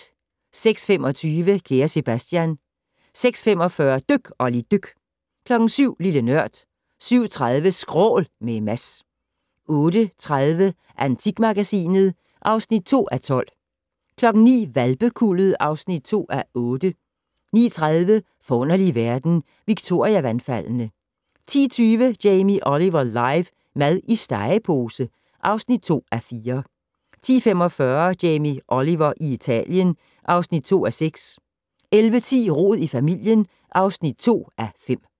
06:25: Kære Sebastian 06:45: Dyk Olli dyk 07:00: Lille Nørd 07:30: Skrål - med Mads 08:30: Antikmagasinet (2:12) 09:00: Hvalpekuldet (2:8) 09:30: Forunderlige verden - Victoria-vandfaldene 10:20: Jamie Oliver live - mad i stegepose (2:4) 10:45: Jamie Oliver i Italien (2:6) 11:10: Rod i familien (2:5)